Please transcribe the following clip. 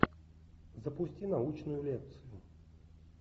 запусти научную лекцию